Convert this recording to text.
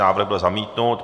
Návrh byl zamítnut.